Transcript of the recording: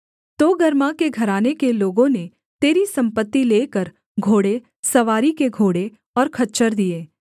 तोगर्मा के घराने के लोगों ने तेरी सम्पत्ति लेकर घोड़े सवारी के घोड़े और खच्चर दिए